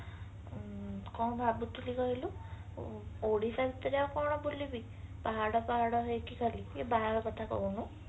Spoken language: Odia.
କଣ ଭାବୁଥିଲି କହିଲୁ ଓଡିଶା ଭିତରେ ଆଉ କଣ ବୁଲିବି ପାହାଡ ପାହାଡ ହେଇକି ଗଳି ଟିକେ ବାହାର କଥା କହୁନୁ